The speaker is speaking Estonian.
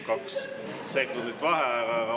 Kaks sekundit vaheaega.